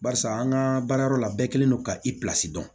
Barisa an ka baara yɔrɔ la bɛɛ kɛlen don ka i pilasi dɔn